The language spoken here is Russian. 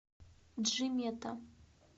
джимета